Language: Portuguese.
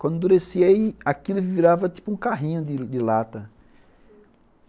Quando endurecia aí, aquilo virava tipo um carrinho de de lata.